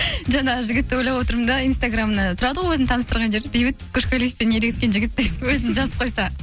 жаңағы жігітті ойлап отырмын да инстаграмына тұрады ғой өзін таныстырған жері бейбіт көшқалиевпен ерегесікен жігіт деп өзін жазып қойса